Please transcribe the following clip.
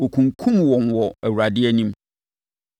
wɔkunkumm wɔn wɔ Awurade anim.